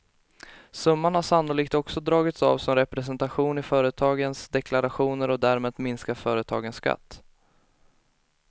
Summan har sannolikt också dragits av som representation i företagens deklarationer och därmed minskat företagens skatt.